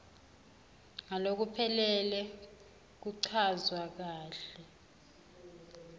ngalokuphelele nekuchazwa kahle